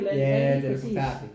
Ja den er forfærdelig